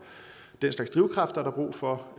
den slags drivkraft er der brug for